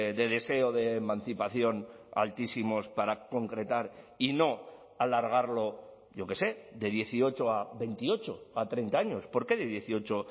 de deseo de emancipación altísimos para concretar y no alargarlo yo qué sé de dieciocho a veintiocho o a treinta años por qué de dieciocho